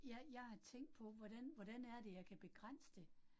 Jeg jeg har tænkt på, hvordan hvordan er det, jeg kan begrænse det